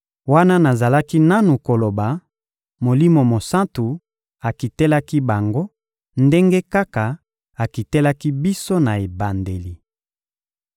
Wana nazalaki nanu koloba, Molimo Mosantu akitelaki bango ndenge kaka akitelaki biso na ebandeli.